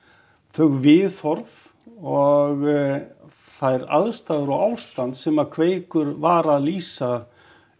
þau viðhorf og þær aðstæður og ástand sem að Kveikur var að lýsa